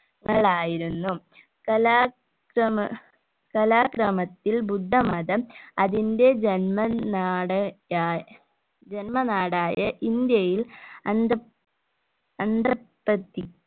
ങ്ങളായിരുന്നു കലാ ക്രമ കലാക്രമത്തിൽ ബുദ്ധമതം അതിന്റെ ജന്മ നാട് യാ ജന്മനാടായ ഇന്ത്യയിൽ അന്ത അന്തപ്രതി